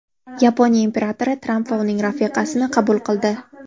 Yaponiya imperatori Tramp va uning rafiqasini qabul qildi.